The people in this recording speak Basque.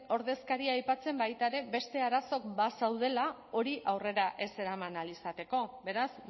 ordezkaria aipatzen baita ere beste arazo bazeudela hori aurrera ez eraman ahal izateko beraz